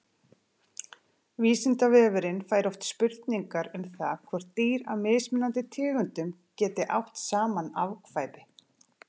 Vísindavefurinn fær oft spurningar um það hvort dýr af mismunandi tegundum geti átt saman afkvæmi.